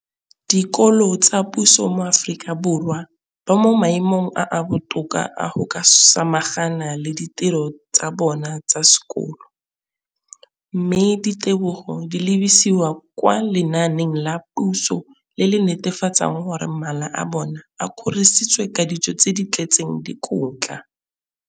dikolo tsa puso mo Aforika Borwa ba mo maemong a a botoka a go ka samagana le ditiro tsa bona tsa sekolo, mme ditebogo di lebisiwa kwa lenaaneng la puso le le netefatsang gore mala a bona a kgorisitswe ka dijo tse di tletseng dikotla.